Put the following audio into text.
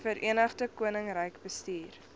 verenigde koninkryk bestuur